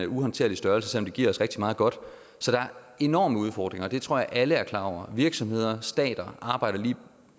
uhåndterlig størrelse selv om de giver os rigtig meget godt så der er enorme udfordringer og det tror jeg alle er klar over virksomheder og stater arbejder lige